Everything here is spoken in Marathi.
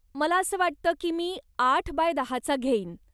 मला असं वाटतं की मी आठ बाय दहा चा घेईन.